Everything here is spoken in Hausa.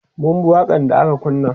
mun bi waƙan da aka kunna